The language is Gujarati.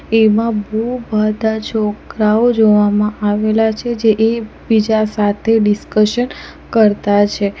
એમાં બહુ બધા છોકરાઓ જોવામાં આવેલા છે જે એક બીજા સાથે ડિસ્કશન કરતા છે.